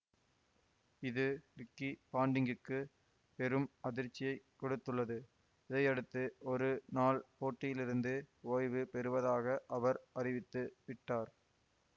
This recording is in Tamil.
இது ரிக்கி பாண்டிங்குக்கு பெரும் அதிர்ச்சியைக் கொடுத்துள்ளது இதையடுத்து ஒரு நாள் போட்டிகளிலிருந்து ஓய்வு பெறுவதாக அவர் அறிவித்து விட்டார்